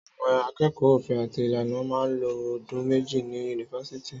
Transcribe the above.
Àwón àkẹkọ òfin àti ìlànà mà lo òdún mẹjẹ ni unífàsítì